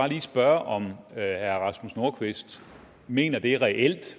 lige spørge om herre rasmus nordqvist mener det reelt